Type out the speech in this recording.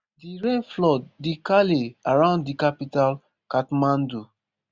di rain flood di calley around di capital kathmandu